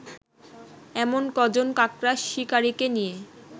এমন কজন কাকড়া শিকারিকে নিয়ে